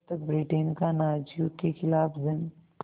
तब तक ब्रिटेन का नाज़ियों के ख़िलाफ़ जंग